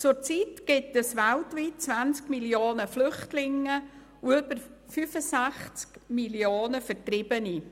Zurzeit gibt es weltweit 20 Mio. Flüchtlinge und über 65 Mio. Vertriebene.